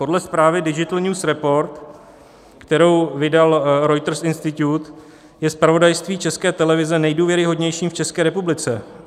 Podle zprávy Digital News Report, kterou vydal Reuters Institute, je zpravodajství České televize nejdůvěryhodnějším v České republice.